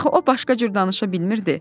Axı o başqa cür danışa bilmirdi.